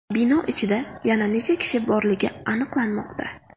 Bino ichida yana necha kishi borligini aniqlanmoqda.